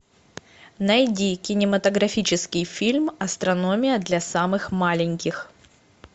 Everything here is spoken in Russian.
найди кинематографический фильм астрономия для самых маленьких